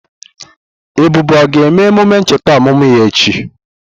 Ebube o ga-eme emume ncheta ọmụmụ ya echi?